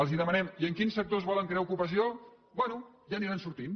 els demanem i en quins sectors volen crear ocupació bé ja aniran sortint